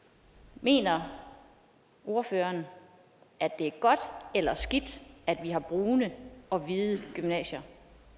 mener ordføreren at det er godt eller skidt at vi har brune og hvide gymnasier